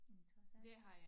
Interessant